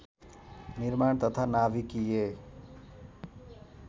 निर्माण तथा नाभिकीय